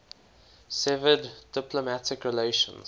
severed diplomatic relations